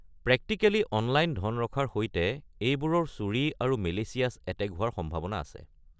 Practically 'online' ধন ৰখাৰ সৈতে, এইবোৰৰ চুৰি আৰু মেলিচিয়াছ এটেক হোৱাৰ সম্ভাৱনা আছে।